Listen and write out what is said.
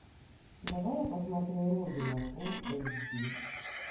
давай я посмотрю родина фул эйч ди